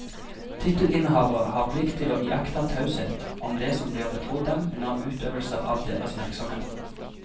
Tittelinnehavere har plikt til å iaktta taushet om det som blir betrodd dem under utøvelse av deres virksomhet.